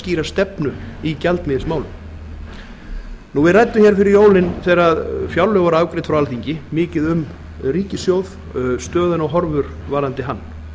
skýra stefnu í gjaldeyrismálum við ræddum hér fyrir jólin þegar fjárlög voru afgreidd frá alþingi mikið um ríkissjóð stöðuna og horfur varðandi hann